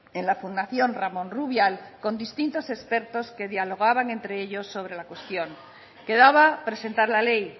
en la fundación ramón rubial con distintos expertos que dialogaban entre ellos sobre la cuestión quedaba presentar la ley